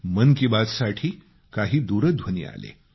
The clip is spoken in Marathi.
sound bites